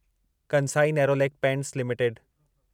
Kansai Nerolac paints limited